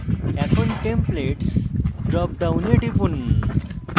এখন templates drop ডাউনে টিপুন